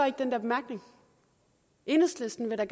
ikke den der bemærkning enhedslisten vil da